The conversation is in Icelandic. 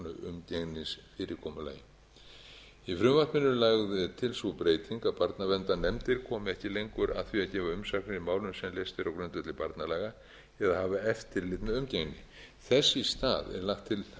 af tilteknu umgengnisfyrirkomulagi í frumvarpinu er lögð til sú breyting að barnaverndarnefndir komi ekki lengur að því að gefa umsagnir í málinu sem leyst er á grundvelli barnalaga eða hafa eftirlit með umgengni þess í stað er lagt til að sýslumenn leiti til